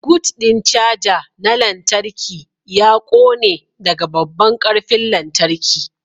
Gut ɗin caja na lantarki ya ƙone daga babban ƙarfin lantarki.